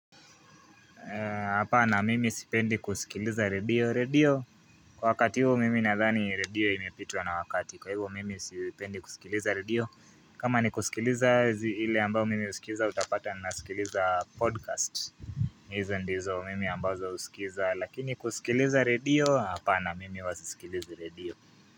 Hapana mimi sipendi kuskiliza radio, radio kwa wakati huu mimi nadhani radio imepitwa na wakati kwa hivyo, mimi sipendi kusikiliza radio kama ni kusikiliza ile ambayo mimi husikiliza utapata naskiliza podcast hizo ndizo mimi ambazo usikiliza lakini kusikiliza radio hapana mimi huwa sisikilizi redio.